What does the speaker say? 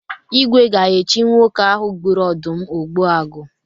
Igwe ga-echi nwoke ahụ gburu ọdụm Ogbuagu.